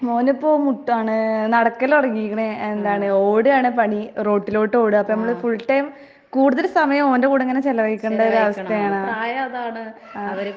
മോനിപ്പോ മുട്ട്കാണ്, നടക്കല് തൊടങ്ങീക്കണ് എന്താണ് ഓട്കാണ് പണി, റോട്ടിലോട്ടോട്ക. അപ്പ നമ്മള് ഫുൾ ടൈം കൂടുതല് സമയോം ഓന്റെ കൂടിങ്ങനെ ചെലവഴിക്കണ്ടൊരവസ്ഥയാണ്. ആഹ്.